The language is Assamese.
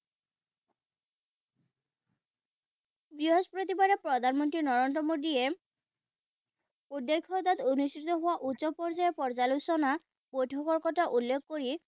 বৃহস্পতিবাৰে প্ৰধানমন্ত্ৰী নৰেন্দ্ৰ মোদীয়ে অনুষ্ঠিত হোৱা উচ্চ পৰ্য্যায়ৰ পৰ্যালোচনা বৈঠকৰ কথা উল্লেখ কৰি